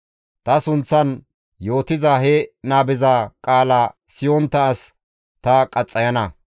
Ta sunththan yootiza he nabeza qaala siyontta as ta qaxxayana.